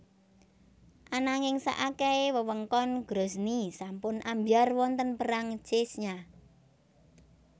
Ananging saakehe wewengkon Grozny sampun ambyar wonten Perang Chechnya